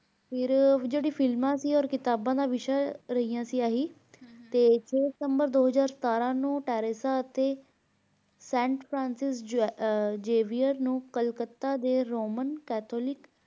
ਫਿਰ ਜਿਹੜੀ ਫ਼ਿਲਮਾਂ ਸੀ ਅਤੇ ਕਿਤਾਬਾਂ ਦਾ ਵਿਸ਼ਾ ਰਹੀ ਸੀ ਆਹੀ ਤੇ ਦੋ ਦਿਸੰਬਰ ਦੋ ਹਜ਼ਾਰ ਸਤਾਰਾਂ ਨੂੰ Teressa ਅਤੇ St. Francis Xavier ਨੂੰ ਕਲਕੱਤਾ ਦੇ roman catholic